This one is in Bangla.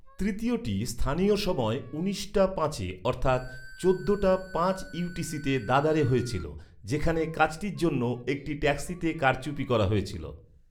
তৃতীয়টি স্থানীয় সময় উনিশ টা পাঁচে অর্থাৎ চোদ্দটা পাঁচ ইউটিসিতে দাদারে হয়েছিল, যেখানে কাজটির জন্য একটি ট্যাক্সিতে কারচুপি করা হয়েছিল।